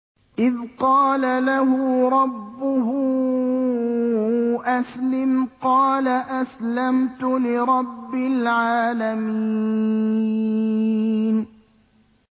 إِذْ قَالَ لَهُ رَبُّهُ أَسْلِمْ ۖ قَالَ أَسْلَمْتُ لِرَبِّ الْعَالَمِينَ